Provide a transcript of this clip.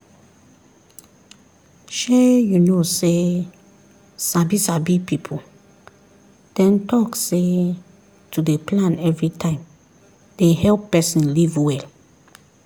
shey you know say sabi sabi people dem talk say to dey plan everytime dey help person live well